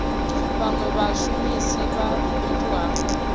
vhanwe vhashumisi vha fhethu ha